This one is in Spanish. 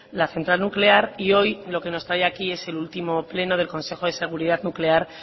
la central nuclear y hoy lo que nos trae aquí es el último pleno del consejo de seguridad nuclear